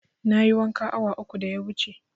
Na yi wanka awa uku da ya wuce